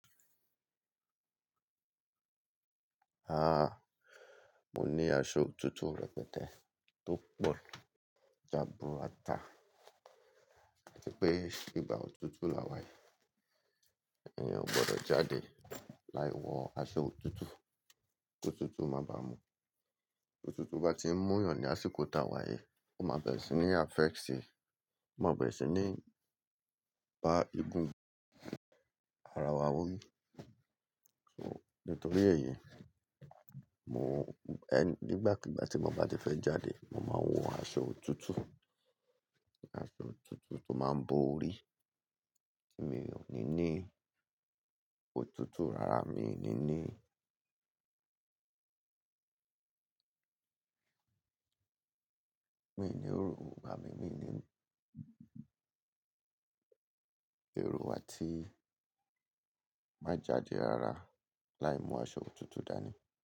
Ahn ahn, mo ní aṣọ òtútù rẹpẹtẹ tó pọ̀ jaburata. Ati pé ìgbà òtútù là wá yí, èèyàn ò gbọdọ̀ jáde láì wọ aṣọ òtútù. KÓtútù máa ba mu. Ótútù bá ti ń múyàn ní àsìkò tá wá yi, ó má bẹ̀rẹ̀ sí ní affect si, má bẹ̀rẹ̀ sí ní bá igun ara wa wó yí. So nítorí èyí, mo ẹ nígbàkíbá ti mo bá ti fẹ́ jáde, mo máa ń wọ aṣọ òtútù. Aṣọ òtútù tó máa ń bo orí tí mi ò ní ní. Ótútù rara mi ní ní. Mi ò ní òrò, ìgbà mí mí ní Erò àti má jáde rara láì mú aṣọ òtútù dání.